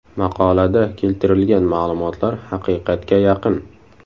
Maqolada keltirilgan ma’lumotlar haqiqatga yaqin.